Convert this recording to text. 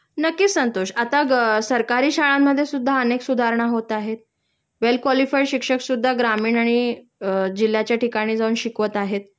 नक्कीच संतोष.आता ग सरकारी शाळांमध्ये सुद्धा अनेक सुधारणा होत आहेत.वेल क्वालिफाईड शिक्षक सुद्धा ग्रामीण आणि अ जिल्ह्याच्या ठिकाणी जाऊन शिकवत आहेत